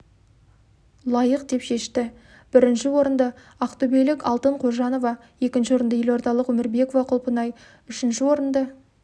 лайық деп шешті бірінші орынды ақтөбелік алтын қожанова екінші орынды елордалық өмірбекова құлпынай үшінші орынды